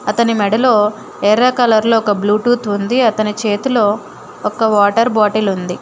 అతని మెడలో ఎర్ర కలర్లో ఒక బ్లూటూత్ ఉంది. అతని చేతిలో ఒక వాటర్ బాటిల్ ఉంది.